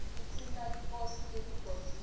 tinsita teliposi leligodliwe